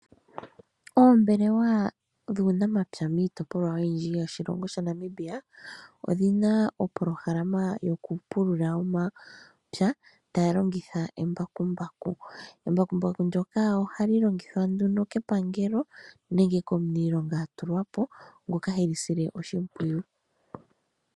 Oombelewa dhuunamapya miitopolwa oyindji yoshilongo shaNamibia odhi na opolohalama yokupulula omapya taya longitha embakumbaku. Embakumbaku ndyoka ohali longithwa nduno kepangelo nenge komuniilonga a tulwa po, ngoka he li sile oshimpwiyu.